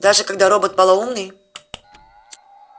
даже когда робот полоумный